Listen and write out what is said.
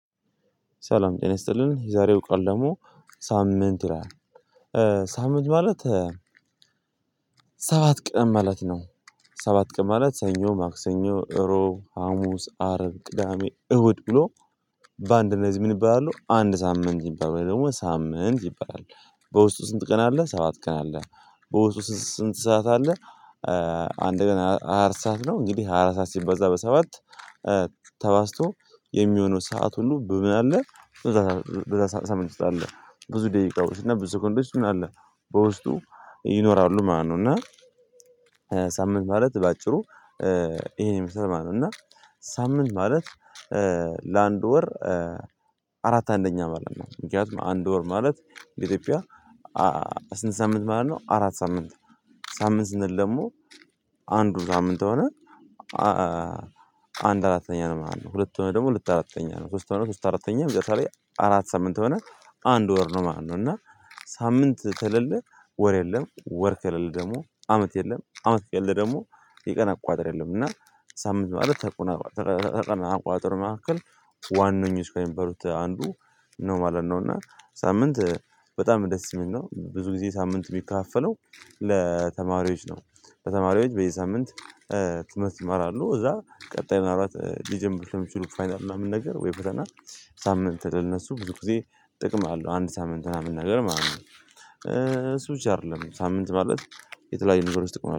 ሰላም ይሰጥልን የዛሬው ቃል ደግሞ ሳምንት ይላል። ሳምንት ማለት ሰባት ቀን ማለት ነው። ሰባት ቀን ማለት ሰኞ፣ ማክሰኞ፣ እሮብ፣ ሀሙስ፣ አርብ፣ ቅዳሜ፣ እሁድ ብሎ በአንድ እና እዚህ ምን ይባላሉ አንድ ሳምንት ይባላሉ። ውይም ደግሞ ሳምንት ይባላል። በውስጡ ስንት ቀን አለ ሰባት ቀን አለ። በውስጡ ስንት ሰዓት አለ? አንድ ቀን ሃያ አራት ሰዓት ነው። እንግዲህ ሃያ አራት ሰዓት ሲባዛ በሰባት ተባዝቶ የሚሆነው ሰዓት ሁሉ በምን አለ በዛ ሳምንት ውስጥ አለ። ብዙ ደቂቃዎች እና ብዙ ሰከንዶች ምን አለ በውስጡ ይኖራሉ ማለት ነው። እና ሳምንት ማለት በአጭሩ ይሄን ይመስላል ማለት ነው። እና ሳምንት ማለት ለአንድ ወር አራት አንደኛ ማለት ነው። ምክንያቱም አንድ ወር ማለት ለኢትዮጵያ ስንት ሳምንት ማለት ነው አራት ሳምንት ሳምንት ስንል ደግሞ አንዱ ሳምንት ከሆነ አንድ አራተኛ ነው ማለት ነው። ሁለት ከሆነ ደግሞ ሁለት አራተኛ ነው። ሶስት ሆኖ ሶስት አራተኛ። መጨረሻ ላይ አራት ሳምንት ከሆነ አንድ ወር ነው ማለት ነው። እና ሳምንት ከሌለ ወር የለም፤ ወር ከሌለ ደግሞ አመት የለም። አመት ከሌለ ደግሞ የቀን አቆጣጠር የለም። እና ሳምንት ማለት ተቆና ከቀን አቆጣጠር መካከል ዋነኞች ከሚባሉት አንዱ ነው ማለት ነው። እና ሳምንት በጣም ደስ የሚል ነው። ብዙ ጊዜ ሳምንት ሚከፋፈለው ለተማሪዎች ነው። በተማሪዎች በየሳምንት ትምህርት ይማራሉ። ከዛ ቀጣይ ምናልባት ሊጀምሩት የሚችሉት ነገር ምናምን ነገር ወይ ፈተና ሳምንት ለእነሱ ብዙ ጊዜ ጥቅም አለው። አንድ ሳምንት ምናምን ነገር ማለት ነው። እሱ ብቻ አይደለም። ሳምንት ማለት የተለያዩ ነገሮች ጥቅም